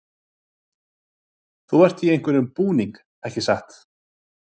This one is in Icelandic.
Gunnar: Þú ert í einhverjum búning, ekki satt?